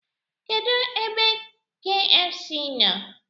Kedụ ebe kfc nọ?